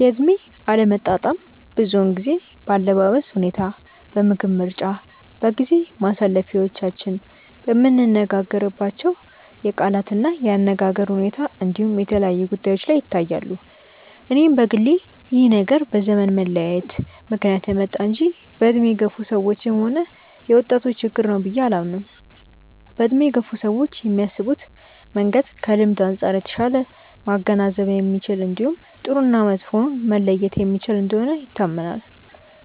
የእድሜ አለመጣጣም ብዙውን ጊዜ በአለባበስ ሁኔታ፣ በምግብ ምርጫ፣ በጊዜ ማሳለፊያዎቻችን፣ በምንነጋገርባቸው የቃላት እና የአነጋገር ሁኔታ እንዲሁም የተለያዩ ጉዳዮች ላይ ይታያሉ። እኔም በግሌ ይህ ነገር በዘመን መለያየት ምክንያት የመጣ እንጂ በእድሜ የገፋ ሰዎችም ሆነ የወጣቶች ችግር ነው ብዬ አላምንም። በእድሜ የገፉ ሰዎች የሚያስቡበት መንገድ ከልምድ አንጻር የተሻለ ማገናዘብ የሚችል እንዲሁም ጥሩ እና መጥፎውን መለየት የሚችል እንደሆነ ይታመናል።